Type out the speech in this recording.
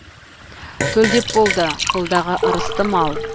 төлдеп болды қолдағы ырысты мал